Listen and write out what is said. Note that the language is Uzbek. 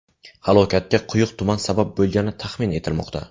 Halokatga quyuq tuman sabab bo‘lgani taxmin etilmoqda.